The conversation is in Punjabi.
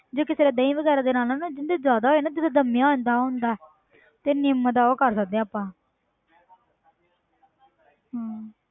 ਜੇ ਕਿਸੇ ਦੇ ਦਹੀਂ ਵਗ਼ੈਰਾ ਦੇ ਨਾਲ ਨਾ ਨਾ ਜਿਹਦੇ ਜ਼ਿਆਦਾ ਹੋਏ ਨਾ ਜਿਹਦੇ ਜੰਮਿਆ ਹੋਇਆ ਹੁੰਦਾ ਹੈ ਤੇ ਨਿੰਮ ਦਾ ਉਹ ਕਰ ਸਕਦੇ ਹਾਂ ਆਪਾਂ ਹਮ